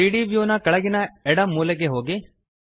3ದ್ ವ್ಯೂ ನ ಕೆಳಗಿನ ಎಡ ಮೂಲೆಗೆ ಹೋಗಿ